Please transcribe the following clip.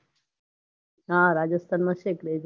હા રાજસ્થાનમાં વધારે છે આપડે ત્યાંતો દિવાળીને એવું સારું